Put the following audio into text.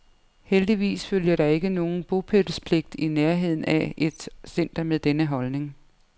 Heldigvis følger der ikke nogen bopælspligt i nærheden af et center med denne holdning.